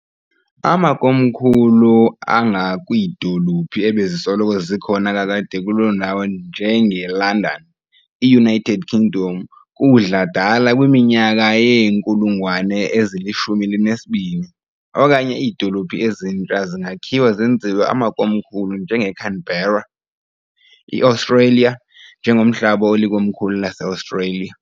Amakomkhulu angakwiidolophu ebezisoloko zikhona kakade kuloo ndawo njengeLondon, iUnited Kingdom, kudla-dala kwiminyaka yeenkulungwane ezili-12, okanye iidolophu ezintsha zingakhiwa zenziwe amakomkhulu njengeCanberra, iAustralia, njengomhlaba olikomkhulu laseAustralia.